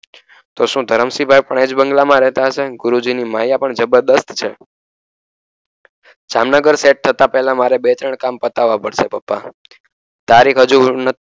તો શું ધરમસિંહ ભાઈ પણ એજ બંગલામાં રહેતા હશે ગુરુજીની માયા પણ જબરજસ્ત છે જામનગર સેટ થતાં પહેલા મારે બે ત્રણ કામ પતાવા પડસે પપ્પા તારીખ હજુ